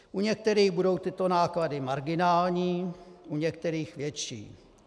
U některých budou tyto náklady marginální, u některých větší.